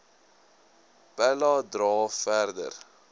pella dra verder